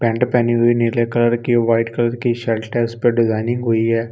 Paint पहनी हुई नीले कलर की वाइट कलर की शर्ट है उस पे डिजाइनिंग हुई है।